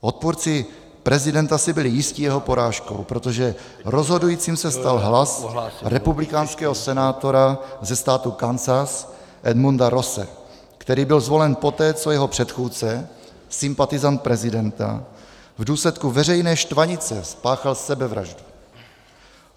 Odpůrci prezidenta si byli jisti jeho porážkou, protože rozhodujícím se stal hlas republikánského senátora ze státu Kansas Edmunda Rosse, který byl zvolen poté, co jeho předchůdce, sympatizant prezidenta, v důsledku veřejné štvanice spáchal sebevraždu.